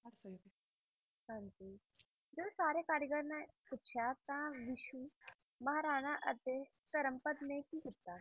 ਹਾਂਜੀ ਜਦ ਸਾਰੇ ਕਾਰੀਗਰ ਨੇ ਪੁੱਛਿਆ ਤਾਂ ਬਿਸੂ ਮਹਾਰਾਣਾ ਅਤੇ ਧਰਮਪਦ ਨੇ ਕੀ ਕੀਤਾ?